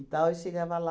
tal, eu chegava lá,